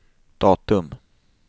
datum